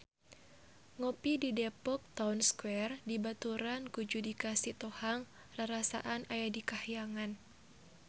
Ngopi di Depok Town Square dibaturan ku Judika Sitohang rarasaan aya di kahyangan